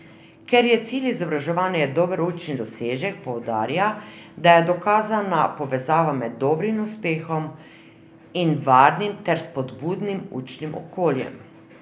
Ker je cilj izobraževanja dober učni dosežek, poudarja, da je dokazana povezava med dobrim uspehom in varnim ter spodbudnim učnim okoljem.